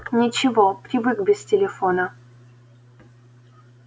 ничего привык без телефона